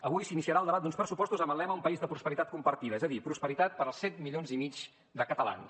avui s’iniciarà el debat d’uns pressupostos amb el lema un país de prosperitat compartida és a dir prosperitat per als set milions i mig de catalans